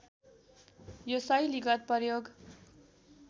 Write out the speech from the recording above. यो शैलीगत प्रयोग